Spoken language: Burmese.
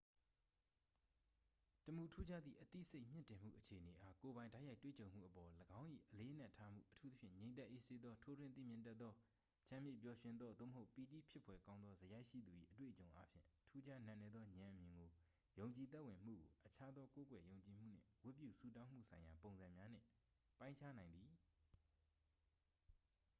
တစ်မူထူးခြားသည့် အသိစိတ်မြင့်တင်မှုအခြေအနေအား ကိုယ်ပိုင်တိုက်ရိုက်တွေ့ကြုံမှုအပေါ် ၎င်း၏ အလေးအနက်ထားမှု အထူးသဖြင့် ငြိမ်သက်အေးဆေးသော ထိုးထွင်းသိမြင်တတ်သော ချမ်းမြေ့ပျော်ရွှင်သော သို့မဟုတ် ပီတိဖြစ်ဖွယ်ကောင်းသော စရိုက်ရှိသူ၏ အတွေ့အကြုံအားဖြင့် ထူးခြားနက်နဲသော ဉာဏ်အမြင်ကို ယုံကြည်သက်ဝင်မှုကို အခြားသော ကိုးကွယ်ယုံကြည်မှုနှင့် ဝတ်ပြုဆုတောင်းမှုဆိုင်ရာ ပုံစံများနှင့် ပိုင်းခြားနိုင်သည်